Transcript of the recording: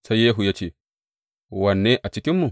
Sai Yehu ya ce, Wanne a cikinmu?